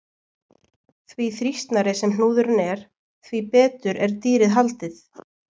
Því þrýstnari sem hnúðurinn er, því betur er dýrið haldið.